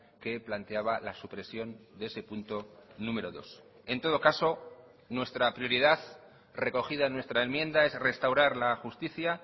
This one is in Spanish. que planteaba la supresión de ese punto número dos en todo caso nuestra prioridad recogida en nuestra enmienda es restaurar la justicia